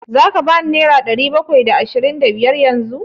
Za ka ban nera ɗari bakwai da ashirin da biyar yanzu?